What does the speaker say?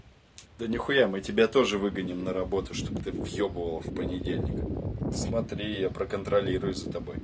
да нихуя мы тебя тоже выгоним на работу чтоб ты въёбывал в понедельник смотри я проконтролирую за тобой